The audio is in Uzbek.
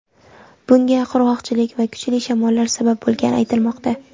Bunga qurg‘oqchilik va kuchli shamollar sabab bo‘lgani aytilmoqda.